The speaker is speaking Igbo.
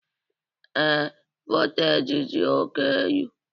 Ee, voltaji dị oke elu